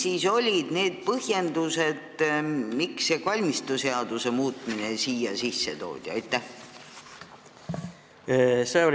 Mis olid need põhjendused, miks see kalmistuseaduse muutmine siia sisse toodi?